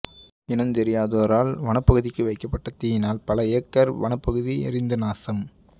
இனந்தெரியாதோரால் வனப்பகுதிக்கு வைக்கப்பட்ட தீயினால் பல ஏக்கர் வனப்பகுதி எரிந்து நாசம்